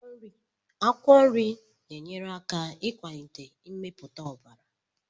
Akwụkwọ nri na-enyere aka ịkwalite mmepụta ọbara.